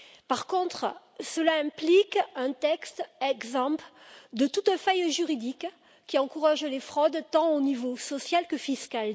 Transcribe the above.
Par contre, cela implique un texte exempt de toute faille juridique qui encourage les fraudes, tant au niveau social que fiscal.